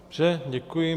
Dobře, děkuji.